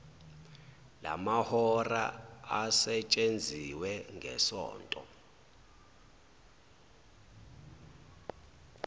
lamahora asetshenziwe ngesonto